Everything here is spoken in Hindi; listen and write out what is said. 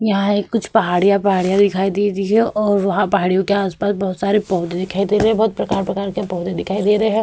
यहाँ ये कुछ पहाड़िया- पहाड़िया दिखाई दे रही हैं और वहां पहाड़ियों के आस पास बहोत सारे पौधे दिखाई दे रहे हैं। बहोत प्रकार-प्रकार के पौधे दिखाई दे रहे हैं।